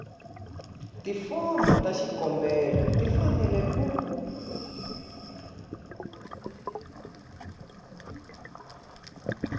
tifomo ta xikombelo tifanele ku